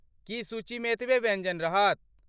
की सूचीमे एतबे व्यञ्जन रहत?